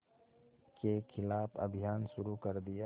के ख़िलाफ़ अभियान शुरू कर दिया